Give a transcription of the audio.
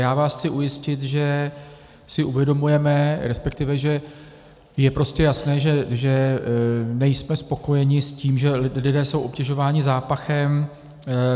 Já vás chci ujistit, že si uvědomujeme, respektive že je prostě jasné, že nejsme spokojeni s tím, že lidé jsou obtěžováni zápachem.